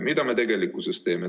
Mida me tegelikkuses teeme?